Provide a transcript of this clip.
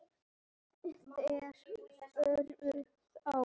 Þeir fóru þá.